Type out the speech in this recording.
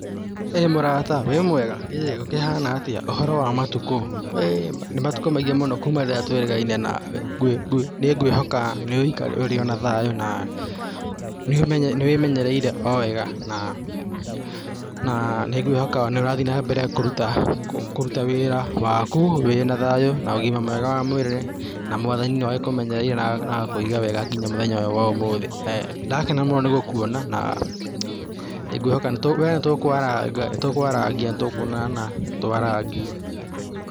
Ĩĩ mũrata wĩ mwega? ĩĩ gũkĩhana atĩa, ũhoro wa matukũ, hĩĩ nĩ matukũ maingĩ mũno kuma rĩrĩa twĩrĩgaine na we, nĩ ngwĩhoka ũrĩ ona thayũ na nĩ wĩmenyereire o wega na, na nĩ ngwĩhoka no ũrathiĩ na mbere kũruta, kũruta wĩra waku wĩna na ũgima mwega wa mwĩrĩ na Mwathani no agĩkũmenyereire na agagĩkũiga wega nginya mũthenya wa ũyũ wa ũmũthĩ, nĩ ndakena mũno nĩ gũkwona naa, we nĩ tũkwarangia, nĩ tũkwonana twarangie.